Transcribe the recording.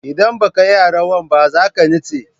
Indan baka iya rawan ba zaka nitse